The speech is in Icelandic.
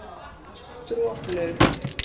Droplaug